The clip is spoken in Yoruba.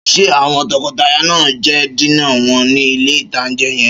Ṣé àwọn tọkọtaya náà jẹ dínà wọn ní ilé-ìtánjẹ yẹn?